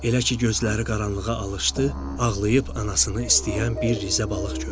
Elə ki gözləri qaranlığa alışdı, ağlayıb anasını istəyən bir Riza balıq gördü.